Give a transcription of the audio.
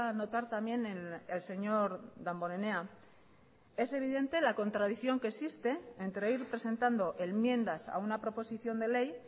notar también el señor damborenea es evidente la contradicción que existe entre ir presentando enmiendas a una proposición de ley